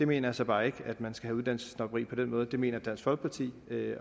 mener så bare ikke at man skal have uddannelsessnobberi på den måde det mener dansk folkeparti